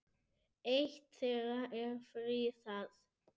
Eitt þeirra er friðað.